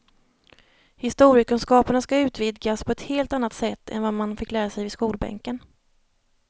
Historiekunskaperna ska utvidgas på ett helt annat sätt än vad man fick lära sig vid skolbänken.